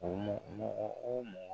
Ɔ ɔ o mɔgɔ